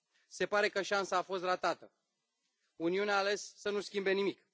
Se pare că șansă a fost ratată, Uniunea a ales să nu schimbe nimic.